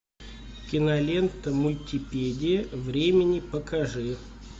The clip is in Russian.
кинолента мультипедия времени покажи